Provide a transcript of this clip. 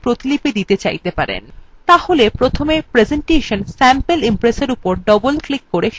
তাহলে প্রথমে presentation sample impress এর উপর doubleক্লিক করে সেটি খুলুন